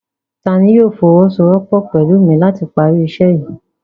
Tani yóò fọwọsowọpọ pẹlu mi lati pari iṣẹ yii?